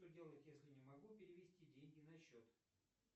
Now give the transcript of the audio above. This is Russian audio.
что делать если не могу перевести деньги на счет